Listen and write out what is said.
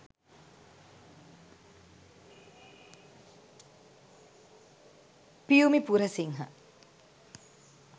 piyumi purasinghe